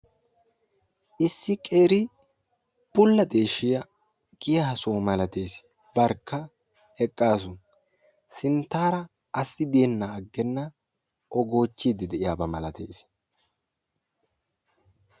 issi qeeri bula deshiyaa giya soho malatiyassani eqassu sintarakka assi goochiyaba milatessi.